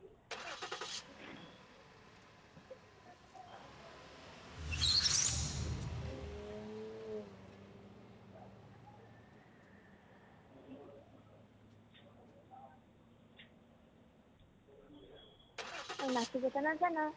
আৰু নাচিবতো নাজানা